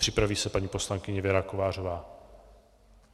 Připraví se paní poslankyně Věra Kovářová.